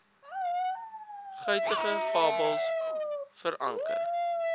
guitige fabels veranker